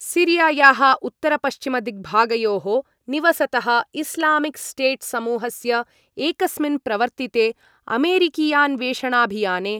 सीरियायाः उत्तरपश्चिमदिग्भागयोः निवसतः Islamic State समूहस्य एकस्मिन् प्रवर्तिते अमेरिकीयान्वेषणाभियाने